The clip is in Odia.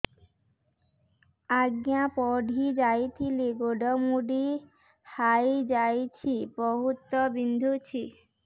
ଆଜ୍ଞା ପଡିଯାଇଥିଲି ଗୋଡ଼ ମୋଡ଼ି ହାଇଯାଇଛି ବହୁତ ବିନ୍ଧୁଛି